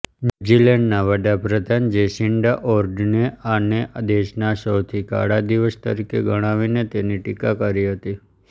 ન્યુઝીલેન્ડના વડાપ્રધાન જેસિન્ડા ઓર્ડને આને દેશના સૌથી કાળા દિવસ તરીકે ગણાવીને તેની ટિકા કરી હતી